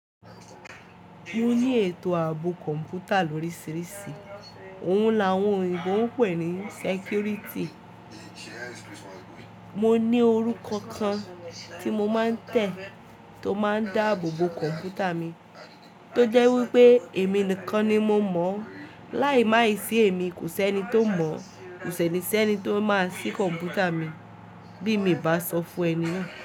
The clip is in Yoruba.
Mo ní ètò ààbò kọ̀ǹpútà lórísìíríṣìí, òun làwọn òyiǹgbò ń pè ní sẹkúrìtì. Mo ní orúkọ kan tí mo máa ń tẹ̀ tó máa ń dáàbò bo kọ̀ǹpútà mi, tó jẹ́ wípé èmi nìkan ni mo mọ̀, láì máa ì ṣé èmi kò ṣe ẹni tó mọ̀, kò ṣe ẹni tí ó máa ṣí kọ̀ǹpútà mi bí mi bá sọ fún ẹni náà.